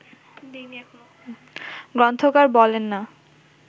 গ্রন্থকার বলেন না